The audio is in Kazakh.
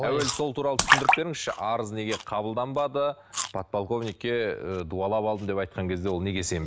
әуелі сол туралы түсіндіріп беріңізші арыз неге қабылданбады подполковникке ы дуалап алдым деп айтқан кезде ол неге